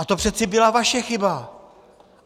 A to přece byla vaše chyba.